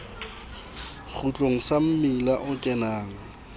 kgutlong sa mmila o kenang